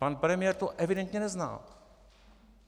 Pan premiér to evidentně nezná.